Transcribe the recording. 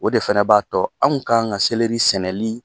O de fɛnɛ b'a tɔ anw kan ŋa sɛnɛli